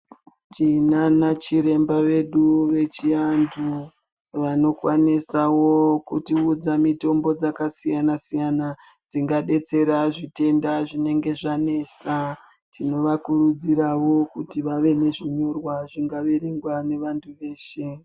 Tinana chiremba vedu vechi antu vano kwanisawo kuti udza mitombo dzaka siyana siyana dzinga detsera zvitenda zvinenge zvanesa tino vakurudziravo kuti vave ne zvinyorwa zvinga verengwa ne vantu veshe.